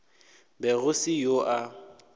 be go se yoo a